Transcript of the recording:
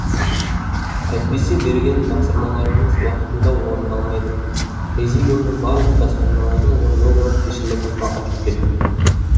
әйтпесе берген тапсырмаларыңыз уақытында орындалмайды президиумның барлық тапсырмаларын орындау жауапкершілігі маған жүктелген